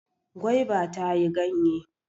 Gwaiba ta yi ganye.